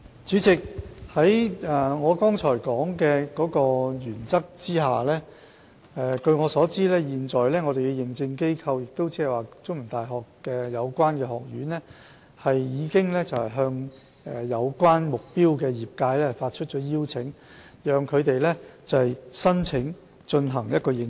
主席，按照我剛才提及的原則，據我所知，現時認證機構，即中文大學的有關學院，已向目標業界發出邀請，讓他們申請進行認證。